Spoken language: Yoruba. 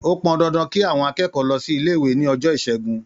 Ó pọn dandan kí àwọn akẹ́kọ̀ọ́ lọ sí ilé-ìwé ní ọjọ́ Ìṣẹ́gun.